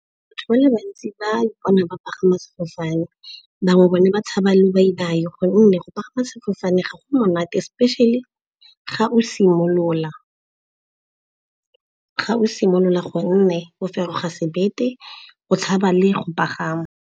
Batho ba le bantsi ba ipona ba pagama sefofane, bangwe bone ba tshaba lobaibai gonne go pagama sefofane ga go monate. Especially ga o simolola gonne bo feroga sebete, o tshaba le go pagama.